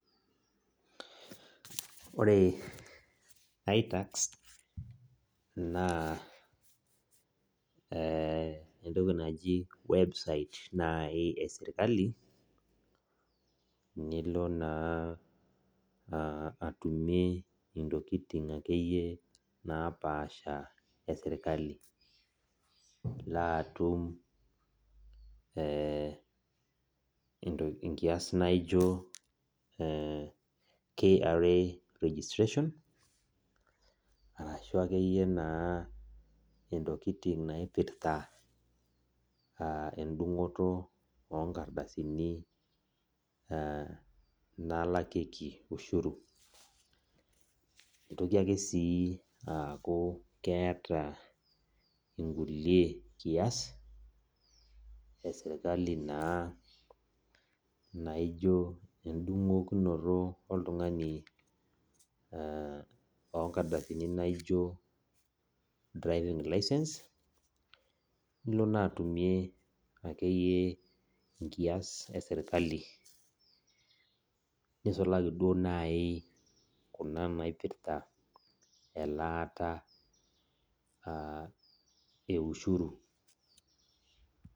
Ore itax na entoki naji website nai eserkali nilo na atumie ntokitin eserkali nkiasbnaijo kra registration [carashu akeyie ntokitin naipirta enkigeroto onkardasini na nalakieki ushuru netoki ake aaku keeta nkulue kias eserkali na naijo na endungoto oltungani onkardasini naijo driving licence nilobna atumie akeyie nkais eserkali nisulaki duo nai naipirta elaata e ushuru.